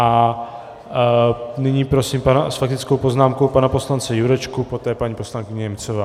A nyní prosím s faktickou poznámkou pana poslance Jurečku, poté paní poslankyně Němcová.